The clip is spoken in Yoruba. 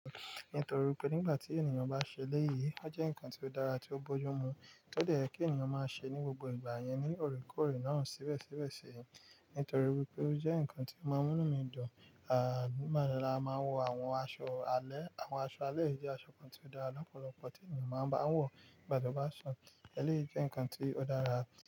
Nítorí pé nígbà tí ènìyàn bá ṣe léyìí, ó jẹ́ ǹkan tó dára tí ó bójú mu tó dẹ́ ẹ kí ènìyàn máa ṣe ní gbogbo ìgbà yẹn ní òrèkóòrè náà síbẹ̀síbẹ̀ ṣi, nítorí wípé ó jẹ́ ǹkan tí ó máa ń mú mi dùn. À máa ń wo àwọn aṣọ alẹ́, àwọn aṣọ alẹ́ jẹ́ aṣọ kan tí ó dára lọ́pọ̀lọpọ̀ tí ènìyàn máa ń bá wọ̀ nígbà tó bá sùn. Eléyìí jẹ́ ǹkan tí ó dára púpọ̀